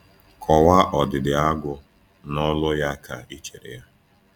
Kọwaa ọdịdị Agu na olu ya ka ị chere ya.